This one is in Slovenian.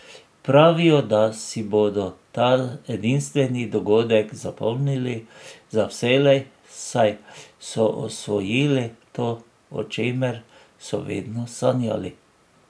Pravijo, da si bodo ta edinstveni dogodek zapomnili za vselej, saj so osvojili to, o čemer so vedno sanjali.